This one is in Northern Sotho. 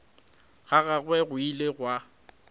ga gagwe go ile gwa